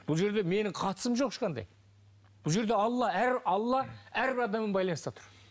бұл жерде менің қатысым жоқ ешқандай бұл жерде алла алла әрбір адаммен байланыста тұр